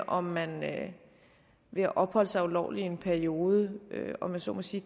om man ved at opholde sig her ulovligt i en periode kan om jeg så må sige